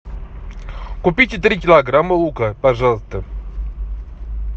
купите три килограмма лука пожалуйста